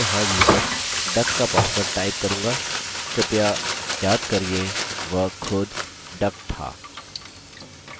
मैं यहाँ user duck का password type करूँगा कृपया याद करिये वह खुद duck था